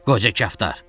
Qoca kaftar.